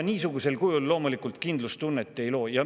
Niisugusel kujul loomulikult kindlustunnet ei loo.